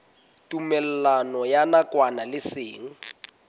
tumellano ya nakwana le seng